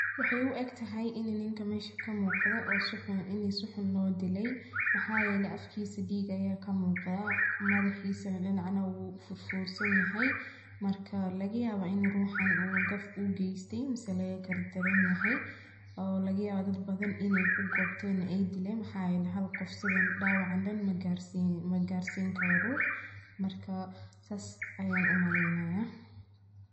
Waxay uegtaxay ninka mesha kamuqda in suxun loodiley maxayele dig aya kamuqda madaxisa dinac u furfursan yaxay marka lagayaba inu ruxan u gaf ugeste ama laga gardaran yaxay oo lagayawa inay kugobten ama aydilen xalqof dawacan dan magarsin karo rux sas ayan umalenaya.